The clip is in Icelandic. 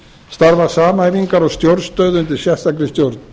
starfa samhæfingar og stjórnstöð undir sérstakri stjórn